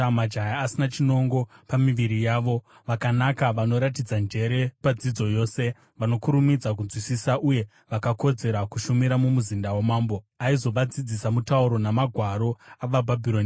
majaya asina chinongo pamiviri yavo, vakanaka, vanoratidza njere padzidzo yose, vanokurumidza kunzwisisa, uye vakakodzera kushumira, mumuzinda wamambo. Aizovadzidzisa mutauro namagwaro avaBhabhironi.